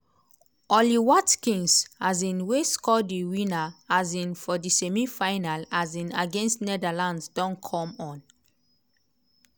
ollie watkins um wey score di winner um for di semi-final um against netherlands don come on.